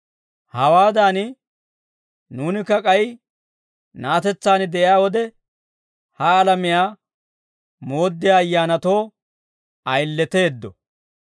Hawaadan nuunikka k'ay na'atetsaan de'iyaa wode, ha alamiyaa mooddiyaa ayyaanatoo ayileteeddo.